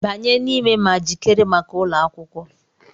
Banye n'ime ma jikere maka ụlọ akwụkwọ!